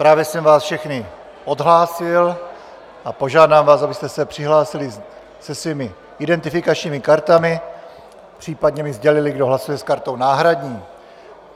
Právě jsem vás všechny odhlásil a požádám vás, abyste se přihlásili se svými identifikačními kartami, případně mi sdělili, kdo hlasuje s kartou náhradní.